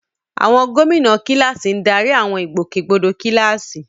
Àwọn gómìnà kíláàsì ń darí àwọn ìgbòkègbodò kíláàsì.